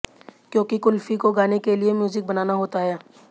क्योंकि कुल्फी को गाने के लिए म्यूजिक बनाना होता हैं